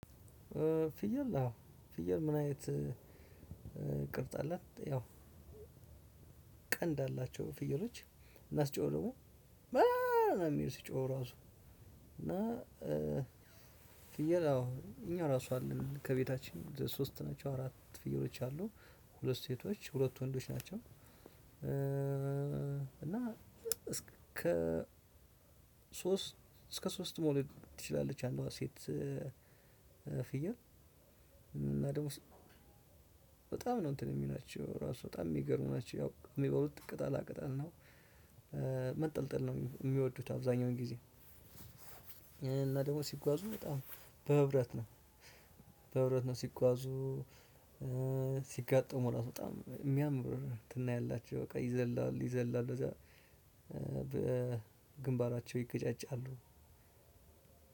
ፍየል አዎ ፍየል ምናይነት ቅርጽ አላት። ያው ቀንድ አላቸው ፍየሎች እና ሲጮሁ ደግም ሚአአአአ የሚሉት ሲጮሁ እራሱ። እና ፍየል አዎ እኛ እራሱ አለን ከቤታችን ሶስትናቸው አራት አሉ ሁለት ሴቶች ሁለት ወንዶች ናቸው። እና እስከ ሶስት እስከ ሶስት መውለድ ትችላለች አንዷ ሴት። ፍየል እና ደግሞ በጣም ነው እንትን የሚላቸው ራሱ በጣም የሚገርሙ ናቸው። ያው የሚበሉት ቅጠላቅጠል ነው። መጠልጠል ነው የሚወዱት አብዛኛውን ጊዜ። እና ደግሞ ሲጓዙ በጣም በህብረት ነው። በህብረት ነው ሲጓዙ ሲጋጠሙ እራሱ በጣም የሚያምር እንትን ነው። ያላችሁ በቃ ይዘላሉ ይዘላሉ እዛ በግንባራቸው ይገጫጫሉ።